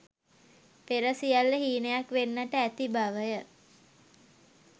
පෙර සියල්ල හීනයක් වෙන්නට ඇති බවය.